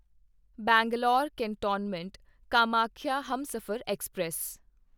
Bangalore cantonment Kamakhya Humsafar express